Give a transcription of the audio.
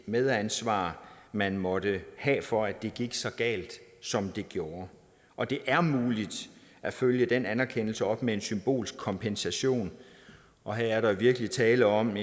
medansvar man måtte have for at det gik så galt som det gjorde og det er muligt at følge den anerkendelse op med en symbolsk kompensation og her er der virkelig tale om